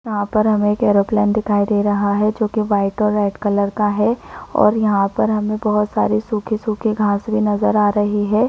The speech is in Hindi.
यहाँ पर हमें एक एरोप्लेन दिखाई दे रहा है जो की वाइट और रेड कलर का है और यहाँ पर हमें बहुत सारे सूखे - सूखे घास भी नजर आ रहै हैं।